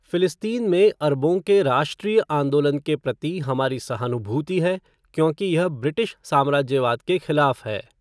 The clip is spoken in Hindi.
फिलिस्तीन में अरबों के राष्ट्रीय आंदोलन के प्रति हमारी सहानुभूति है क्योंकि यह ब्रिटिश साम्राज्यवाद के खिलाफ़ है।